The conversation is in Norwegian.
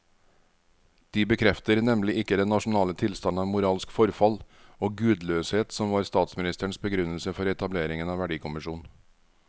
De bekrefter nemlig ikke den nasjonale tilstand av moralsk forfall og gudløshet som var statsministerens begrunnelse for etableringen av verdikommisjonen.